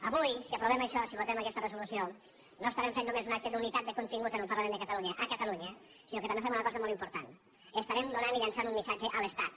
avui si aprovem això si votem aquesta resolució no estarem fent només un acte d’unitat de contingut en el parlament de catalunya a catalunya sinó que també fem una cosa molt important estarem donant i llençant un missatge a l’estat